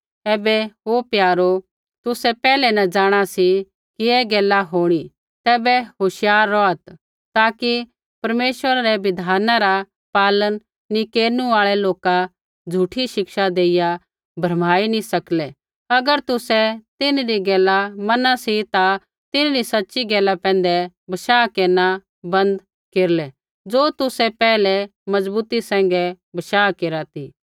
ऐबै हे प्यारो तुसै पैहलै न जाँणा सी कि ऐ गैला होंणी तैबै होशियार रौहात् ताकि परमेश्वरा रै बिधाना रा पालन नी केरनु आल़ै लोक झ़ूठी शिक्षा देइया भरमाई न सकलै अगर तुसै तिन्हरी गैला मना सी ता तिन्हरी सच़ी गैला पैंधै बशाह केरना बन्द केरलै ज़ो तुसै पैहलै मजबूती सैंघै बशाह केरा ती